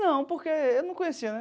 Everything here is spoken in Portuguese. Não, porque eu não conhecia, né?